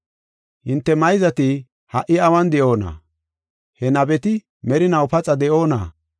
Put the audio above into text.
Hinte mayzati ha77i awun de7oona? He nabeti merinaw paxa de7oona?